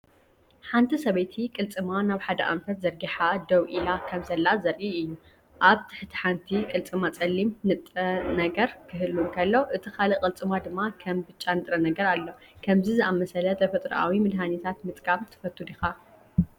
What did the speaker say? ሓንቲ ሰበይቲ ቅልጽማ ናብ ሓደ ኣንፈት ዘርጊሓ ደው ኢላ ከምዘላ ዘርኢ እዩ። ኣብ ትሕቲ ሓንቲ ቅልጽማ ጸሊም ንጥረ ነገር ክህሉ እንከሎ እቲ ካልእ ቅልጽማ ድማ ከም ብጫ ንጥረ ነገር ኣሎ። ከምዚ ዝኣመሰለ ተፈጥሮኣዊ መድሃኒታት ምጥቃም ትፈቱ ዲኻ?